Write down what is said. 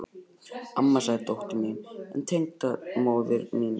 Amma sagði dóttir mín, en tengdamóðir mín hváði.